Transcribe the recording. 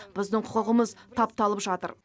біздің құқығымыз тапталып жатыр